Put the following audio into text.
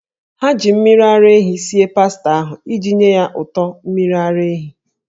Ha ji mmiri ara ehi sie pasta ahụ iji nye ya ụtọ mmiri ara ehi.